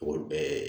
O bɛɛ